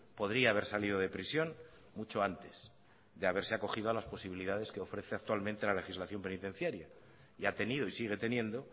podría haber salido de prisión mucho antes de haberse acogido a las posibilidades que ofrece actualmente la legislación penitenciaria y ha tenido y sigue teniendo